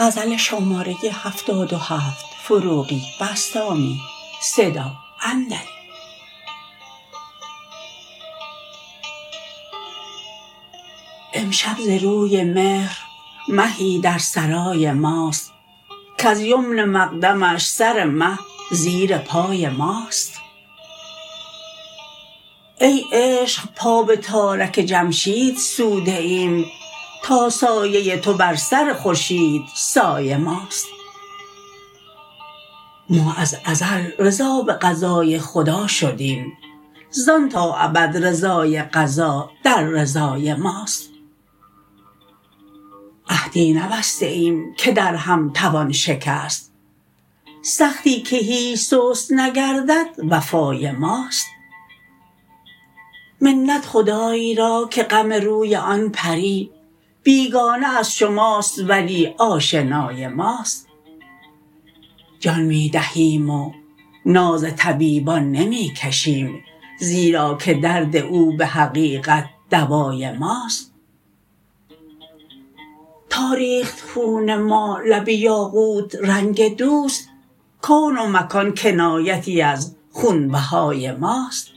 امشب ز روی مهر مهی در سرای ماست کز یمن مقدمش سر مه زیر پای ماست ای عشق پا به تارک جمشید سوده ایم تا سایه تو بر سر خورشیدسای ماست ما از ازل رضا به قضای خدا شدیم زان تا ابد رضای قضا در رضای ماست عهدی نبسته ایم که در هم توان شکست سختی که هیچ سست نگردد وفای ماست منت خدای را که غم روی آن پری بیگانه از شماست ولی آشنای ماست جان می دهیم و ناز طبیبان نمی کشیم زیرا که درد او به حقیقت دوای ماست تا ریخت خون ما لب یاقوت رنگ دوست کون و مکان کنایتی از خون بهای ماست